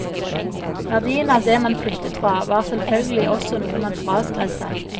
Verdien av det man flyttet fra, var selvfølgelig også noe man fraskrev seg.